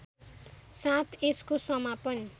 साथ यसको समापन